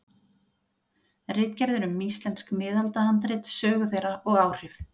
Ritgerðir um íslensk miðaldahandrit, sögu þeirra og áhrif.